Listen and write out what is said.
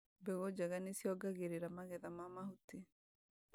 mbegũ njega nĩciongagirira magetha ma mahuti